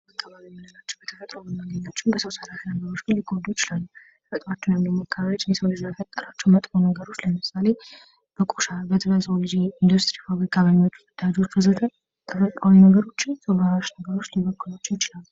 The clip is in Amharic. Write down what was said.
ተፈጥሮና አካባቢ ተፈጥሮና አከባቢ መልካም የሚሆን ተፈጥሮ በፈጣሪ የተፈጠረ ነገር አካባቢ ደግሞ በሰው ልጆች ዙሪያ የሚገኝ ነገር ነው